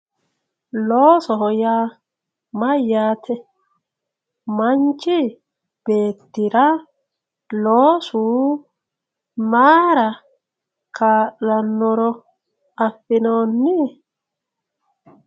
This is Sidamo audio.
Loosoho yaa mayyate, manchi beettira loosu mayra kaa'lanoro affi'nonni?